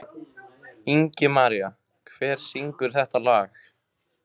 Ingimaría, hver syngur þetta lag?